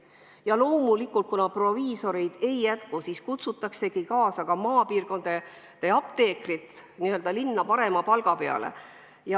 Ja loomulikult, kuna proviisoreid ei jätku, siis kutsutakse maapiirkondade apteekrid n-ö linna parema palga peale.